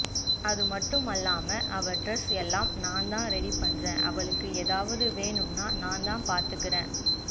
அதுமட்டுமில்லாமா அவ டிரஸ் எல்லாம் நான் தான் ரெடி பண்ற அவளுக்கு ஏதவது வேணும்னா நான் தான் பத்துக்கற